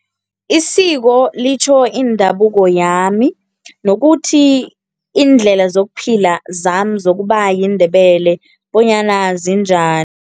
Isiko litjho indabuko yami nokuthi iindlela zokuphila zami zokuba yiNdebele bonyana